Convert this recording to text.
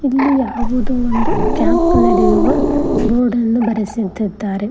ಇಲ್ಲಿ ಯಾವುದೋ ಒಂದು ಕ್ಯಾಂಪ್ ನಡೆಯುವ ಬೋರ್ಡನ್ನು ಬರೆಸಿದಿದ್ದಾರೆ.